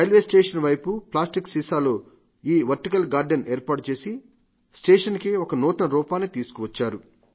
railway station వైపు plastic సీసాల్లో ఈ వర్టికల్ గార్డెన్ ఏర్పాటు చేసి స్టేషన్ కే ఒక నూతన రూపాన్ని ఇచ్చారు